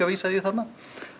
vísað í þarna